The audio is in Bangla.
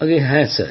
আজ্ঞে হ্যাঁ